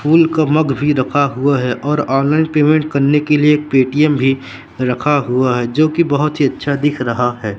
फूल का मग भी रखा हुआ है और ऑनलाइन पेमेंट करने के लिए एक पे टी_एम भी रखा हुआ है जो कि बहुत ही अच्छा दिख रहा है।